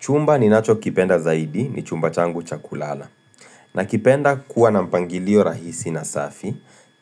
Chumba ninacho kipenda zaidi ni chumba changu cha kulala. Nakipenda kuwa na mpangilio rahisi na safi,